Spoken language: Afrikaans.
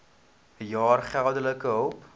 jaar geldelike hulp